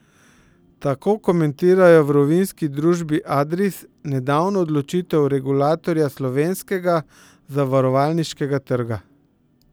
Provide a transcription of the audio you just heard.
Tako komentirajo v rovinjski družbi Adris nedavno odločitev regulatorja slovenskega zavarovalniškega trga.